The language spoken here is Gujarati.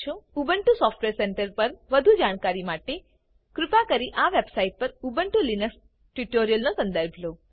ઉબુન્ટુ સોફ્ટવેર સેન્ટર પર વધુ જાણકારી માટે કૃપા કરી આ વેબ સાઈટ પર ઉબુન્ટુ લિનક્સ ટ્યુટોરિયલ્સ નો સંદર્ભ લો